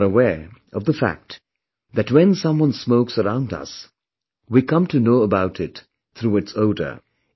You are aware of the fact that when someone smokes around us, we come to know about it through its odour